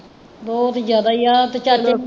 ਬਹੁਤ ਜ਼ਿਆਦਾ ਹੀ ਹੈ ਤੇ ਚੱਲ